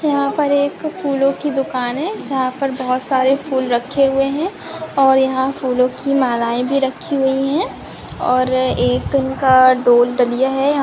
यहाँ पर एक फूलो की दुकान हैं जहाँ पर बहुत सारे फूल रखे हुए हैं और यहाँ फूलों की मालाएँ भी रखी हुई हैं और एक उनका डोल डलिया है।